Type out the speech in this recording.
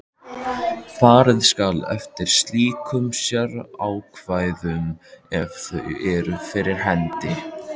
Farið skal eftir slíkum sérákvæðum ef þau eru fyrir hendi.